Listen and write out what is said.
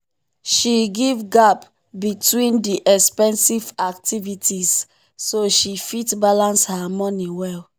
she give gap between the expensive activities so she fit balance her money well.